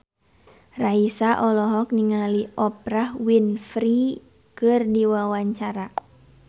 Raisa olohok ningali Oprah Winfrey keur diwawancara